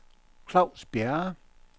Klaus Bjerre